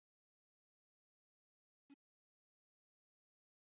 Léttur úði og logn.